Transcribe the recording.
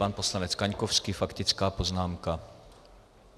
Pan poslanec Kaňkovský, faktická poznámka.